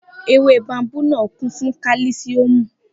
Ewé báóbábù náà kún fún kálísíọ̀mù